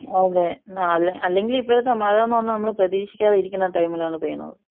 അതെ ന്നാ അല്ലെങ്കി ഇപ്പഴത്തെ മഴാന്ന് പറഞ്ഞ നമ്മൾ പ്രതീഷിക്കാതെ ഇരിക്കുന്ന ടൈം ൽ ആണ് പെയ്യുന്നത്.